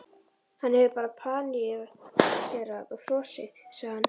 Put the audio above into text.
Hann hefur bara paníkerað og frosið, sagði hann.